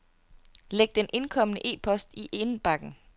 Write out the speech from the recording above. Læg den indkomne e-post i indbakken.